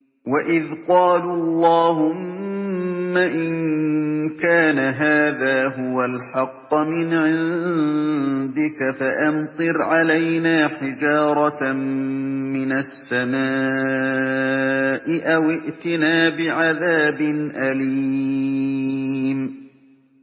وَإِذْ قَالُوا اللَّهُمَّ إِن كَانَ هَٰذَا هُوَ الْحَقَّ مِنْ عِندِكَ فَأَمْطِرْ عَلَيْنَا حِجَارَةً مِّنَ السَّمَاءِ أَوِ ائْتِنَا بِعَذَابٍ أَلِيمٍ